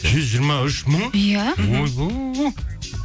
жүз жиырма үш мың иә ойбай